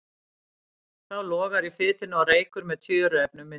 Þá logar í fitunni og reykur með tjöruefnum myndast.